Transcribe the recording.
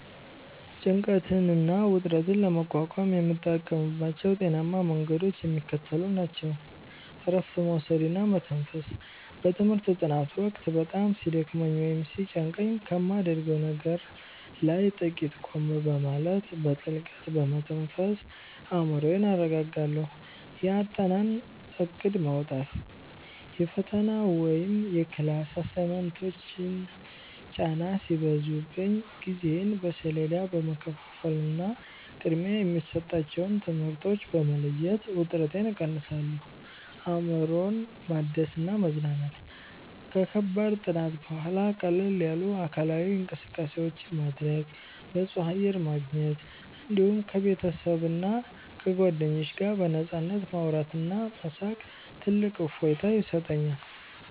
ጭንቀትና ውጥረትን ለመቋቋም የምጠቀምባቸው ጤናማ መንገዶች የሚከተሉት ናቸው፦ እረፍት መውሰድና መተንፈስ፦ በትምህርት ጥናት ወቅት በጣም ሲደክመኝ ወይም ሲጨንቀኝ ከማደርገው ነገር ላይ ጥቂት ቆም በማለት፣ በጥልቀት በመተንፈስ አእምሮዬን አረጋጋለሁ። የአጠናን እቅድ ማውጣት፦ የፈተና ወይም የክላስ አሳይመንቶች ጫና ሲበዙብኝ ጊዜዬን በሰሌዳ በመከፋፈልና ቅድሚያ የሚሰጣቸውን ትምህርቶች በመለየት ውጥረቴን እቀንሳለሁ። አእምሮን ማደስና መዝናናት፦ ከከባድ ጥናት በኋላ ቀለል ያሉ አካላዊ እንቅስቃሴዎችን ማድረግ፣ ንጹህ አየር ማግኘት፣ እንዲሁም ከቤተሰብና ከጓደኞች ጋር በነፃነት ማውራትና መሳቅ ትልቅ እፎይታ ይሰጠኛል።